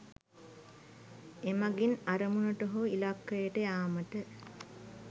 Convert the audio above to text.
එමගින් අරමුණට හෝ ඉලක්කයට යාමට